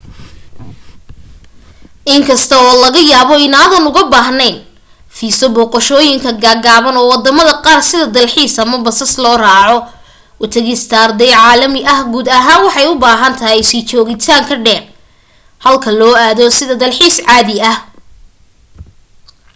in kasta oo laga yaabo inaadan uga baahneyn fiiso booqashooyinka gaagaaban oo wadamada qaar sida dalxiis ama basas loo raaaco u tagista arday caalami ah guud ahaan waxay u baahan tahay sii joogitaan ka dheer halka loo aado sida dalxiis caadi ah